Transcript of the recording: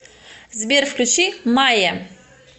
сбер включи мае